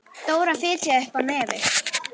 Dóra fitjaði upp á nefið.